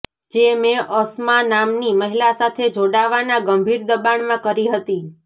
જે મેં અસમા નામની મહિલા સાથે જોડાવાના ગંભીર દબાણમાં કરી હતી